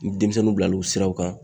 Ni denmisɛnnuw bila l'o siraw kan